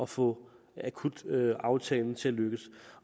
få akutaftalen til at lykkes